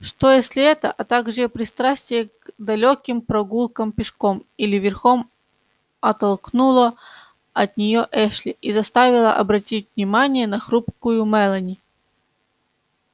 что если это а также пристрастие к далёким прогулкам пешком или верхом оттолкнуло от неё эшли и заставило обратить внимание на хрупкую мелани